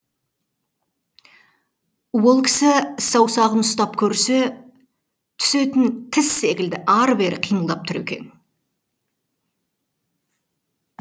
ол кісі саусағын ұстап көрсе түсетін тіс секілді ары бері қимылдап тұр екен